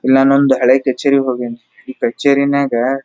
ಇಲ್ಲ ಮುಂದ ಹಳೆ ಕಚೇರಿಗೆ ಹೋಗ್ಯಾನ್ರಿ ಈ ಕಚೇರಿ ನಾಗ.